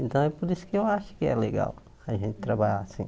Então é por isso que eu acho que é legal a gente trabalhar assim.